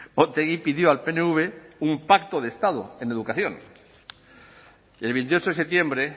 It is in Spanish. otegi pidió al pnv un pacto de estado en educación el veintiocho de septiembre